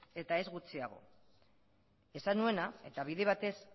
eta ez gutxiago esan nuena eta bide batez